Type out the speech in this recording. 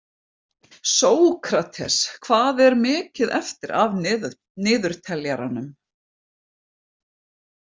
Sókrates, hvað er mikið eftir af niðurteljaranum?